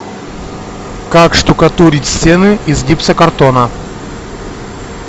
как штукатурить стены из гипсокартона